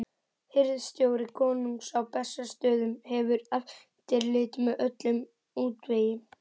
Hirðstjóri konungs á Bessastöðum hefur eftirlit með öllum útvegi.